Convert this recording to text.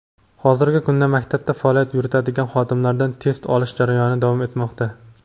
hozirgi kunda maktabda faoliyat yuritadigan xodimlardan test olish jarayoni davom etmoqda.